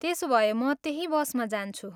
त्यसोभए म त्यही बसमा जान्छु।